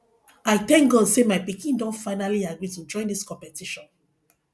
i thank god say my pikin don finally agree to join dis competition